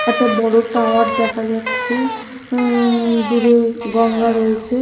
একটা বড়ো টাওয়ার দেখা যাচ্ছে উঁম দূরে গঙ্গা রয়েছে।